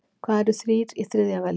Hvað eru þrír í þriðja veldi?